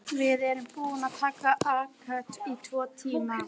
Lér, lækkaðu í hátalaranum.